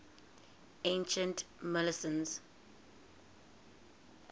ancient milesians